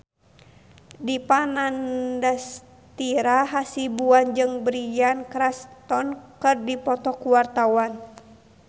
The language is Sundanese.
Dipa Nandastyra Hasibuan jeung Bryan Cranston keur dipoto ku wartawan